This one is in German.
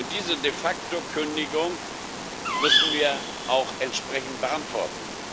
Diese De facto Kündigung müssen wir auch entsprechend beantworten.